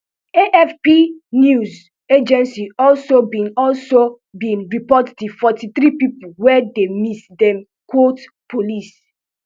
afp news agency also bin also bin report di forty-three pipo wey dey miss dem quote police